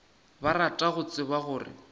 ba rata go tseba gore